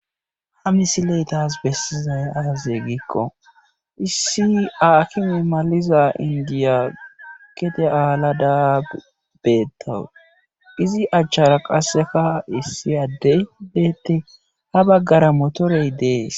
Ha misile tas bessizay aaze giikko issi aakime maliza inddiya gede aalada beettawus. izi achan qassika issi addey beettes. ha baggara motoree dees.